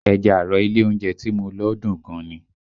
Ẹja àrọ̀ ilé oúnjẹ tí mo lọ dùn gan ni